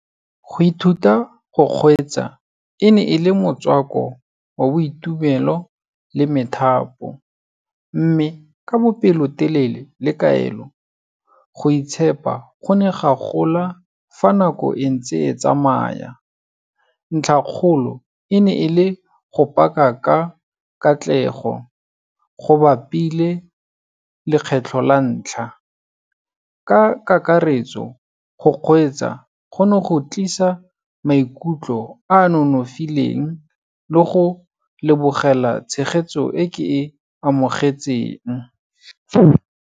Go ithuta go kgweetsa, e ne e le motswako wa boitumelo le methapo, mme ka bopelotelele le kaelo, go itshepa go ne ga gola fa nako entse e tsamaya, ntlha kgolo e ne e le go park-a ka katlego, go bapile lekgetlho la ntlha. Ka kakaretso, go kgweetsa gone go tlisa maikutlo a nonofileng le go lebogela tshegetso e ke e amogetseng.